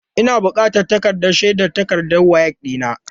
Ina bukatan takardar shaidar takardar WAEC ɗina.